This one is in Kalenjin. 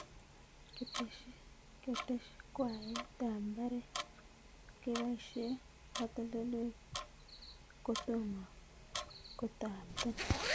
Ketesyakwayet ab mbaret keboishe katoltoliwek ko tomo ko tapton